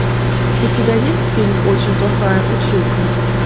у тебя есть фильм очень плохая училка